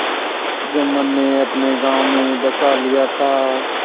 जुम्मन ने अपने गाँव में बसा लिया था